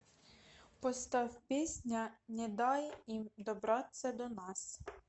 поставь песня не дай им добраться до нас